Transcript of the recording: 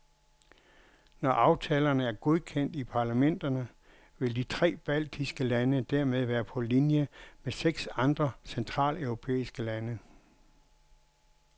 Når aftalerne er godkendt i parlamenterne, vil de tre baltiske lande dermed være på linje med seks andre centraleuropæiske lande.